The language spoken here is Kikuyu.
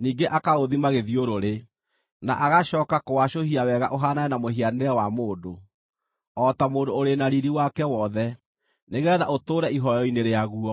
ningĩ akaũthima gĩthiũrũrĩ, na agacooka kũwacũhia wega ũhaanane na mũhianĩre wa mũndũ, o ta mũndũ ũrĩ na riiri wake wothe, nĩgeetha ũtũũre ihooero-inĩ rĩaguo.